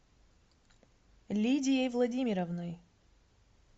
лидией владимировной